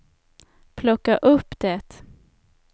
plocka upp det